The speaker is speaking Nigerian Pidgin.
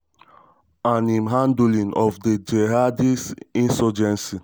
and im handling of di jihadist insurgency.